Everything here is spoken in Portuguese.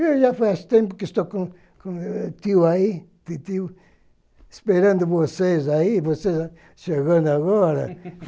Eu já faz tempo que estou com com o tio aí, titio esperando vocês aí, vocês chegando agora. (isos)